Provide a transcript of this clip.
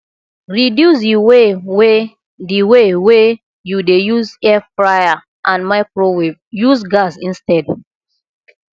reduce di way wey di way wey yu dey use airfryer and microwave use gas instead